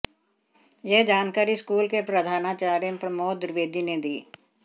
यह जानकारी स्कूल के प्रधानाचार्य प्रमोद द्विवेदी ने दी